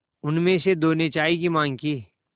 उनमें से दो ने चाय की माँग की